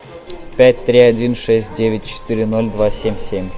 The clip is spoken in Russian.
пять три один шесть девять четыре ноль два семь семь